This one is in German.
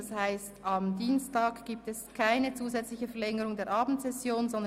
Das heisst, am Dienstag findet keine zusätzliche Verlängerung der Abendsession statt.